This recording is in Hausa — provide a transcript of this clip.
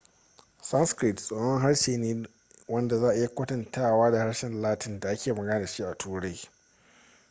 sanskrit tsohon harshe ne wanda za a iya kwatantawa da harshen latin da ake magana da shi a turai